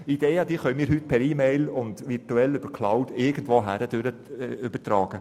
Ideen können wir heute per E-Mail und virtuell über die Cloud irgendwohin übertragen.